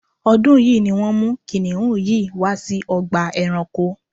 ọ́dún yìí ni wọ́n mú kìnnìún yìí wá sí ọgbà ẹranko